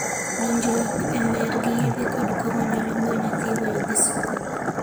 Donjruok e mer gi yedhe kod kong'o nyalo miyo nyathi weyo dhi skul.